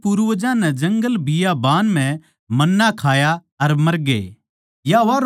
थारे पूर्वजां नै जंगलबियाबान म्ह मन्ना खाया अर मरगे